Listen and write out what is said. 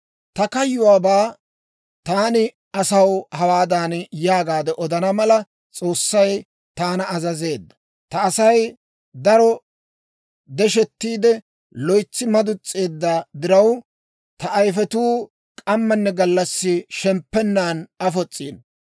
Ta kayyuwaabaa taani asaw hawaadan yaagaade odana mala, S'oossay taana azazeedda; « ‹Ta Asay daro deshettiide, loytsi maduns's'eedda diraw, ta ayifetuu k'ammanne gallassi shemppennan afos's'ino.